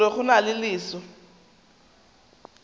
gore go na le selo